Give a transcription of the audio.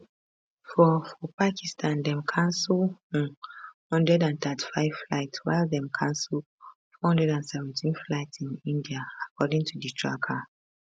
for for pakistan dem cancel um 135 flights while dem cancel 417 flights in india according to di tracker